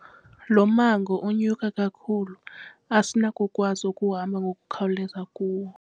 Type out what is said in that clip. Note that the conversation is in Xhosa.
Lo mmango unyuka kakhulu asinakukwazi ukuhamba ngokukhawuleza kuwo.